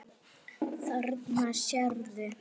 Þarna sérðu.